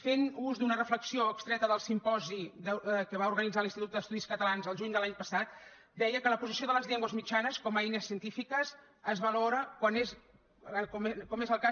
fent ús d’una reflexió extreta del simposi que va organitzar l’institut d’estudis catalans el juny de l’any passat deia que la posició de les llengües mitjanes com a eines científiques es valora com és el cas